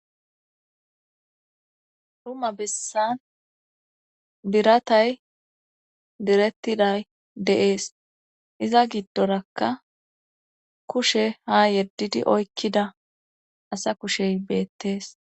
Dumma bessan biratay direttiday deees iza giddorakka kushe ha yeddidi oykkida asa kushey beettees